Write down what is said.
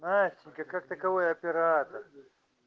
настенька как таковой оператор